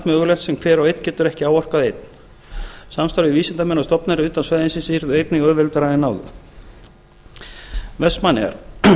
mögulegt sem hver og einn getur ekki áorkað einn samstarf við vísindamenn og stofnanir utan svæðisins yrði einnig auðveldara en áður vestmannaeyjar